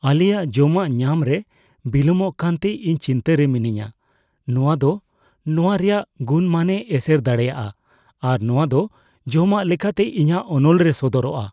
ᱟᱞᱮᱭᱟᱜ ᱡᱚᱢᱟᱜ ᱧᱟᱢ ᱨᱮ ᱵᱤᱞᱚᱢᱚᱜ ᱠᱟᱱᱛᱮ ᱤᱧ ᱪᱤᱱᱛᱟᱹ ᱨᱮ ᱢᱤᱱᱟᱹᱧᱟ ᱾ ᱱᱚᱶᱟ ᱫᱚ ᱱᱚᱶᱟ ᱨᱮᱭᱟᱜ ᱜᱩᱱᱼᱢᱟᱱᱮ ᱮᱥᱮᱨ ᱫᱟᱲᱮᱭᱟᱜᱼᱟ ᱟᱨ ᱱᱚᱶᱟ ᱫᱚ ᱡᱚᱢᱟᱜ ᱞᱮᱠᱟᱛᱮ ᱤᱧᱟᱹᱜ ᱚᱱᱚᱞ ᱨᱮ ᱥᱚᱫᱚᱨᱚᱜᱼᱟ ᱾